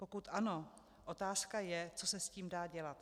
Pokud ano, otázka je, co se s tím dá dělat.